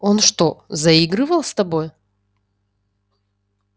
он что заигрывал с тобой